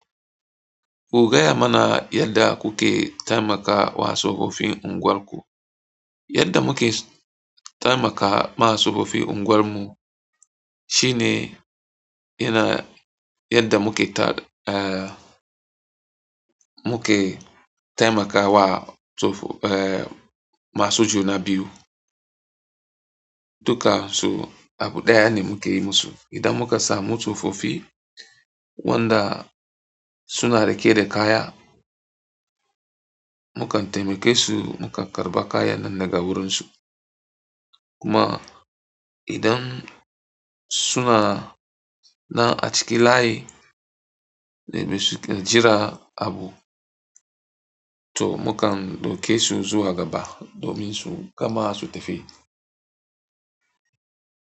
Ku gaya mana yadda kuke taimakawa tsofaffin unguwarku. Yadda muke taimakawa masu tsofi unguwarmu shine yana yadda muke ta, eh, muke taimakawa tso, eh, masu juna biyu. Duka su abu ɗaya ne muke yi musu. Idan muka samu tsofofi wanda suna riƙe da kaya, mukan taimake su, mukar karɓa kayan nan daga wurinsu. Kuma idan suna nan a cikin layi, sai mu jira abu to mukan ɗauke su zuwa gaba domin su gama su tafi.